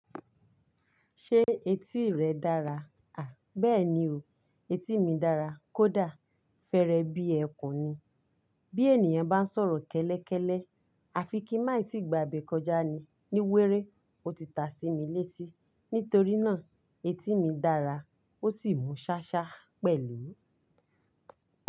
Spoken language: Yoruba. Ṣé etí rẹ dára? À, bẹ́ẹ̀ni o. Etí mi dára kódà fẹ́rẹ bí ẹkùn ni. Bí ènìyàn bá ń sọ̀rọ̀ kẹ́lẹ́kẹ́lẹ́, àfi kin n máa e tí gbà ibẹ́ kọjá ni. Ní wéré, ó ti ta sí mi létí. Nítorí náà etí mi dára ó sì mú ṣáṣá pẹ̀lú.